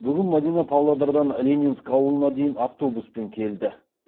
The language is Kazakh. бүгін мадина павлодардан ленинск ауылына дейін автобуспен келді